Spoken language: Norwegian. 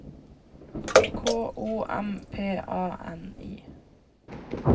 K O M P A N I